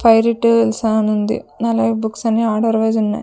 పై అనుంది అలాగే బుక్స్ అన్నీ ఆర్డర్ వైస్ ఉన్నాయ్.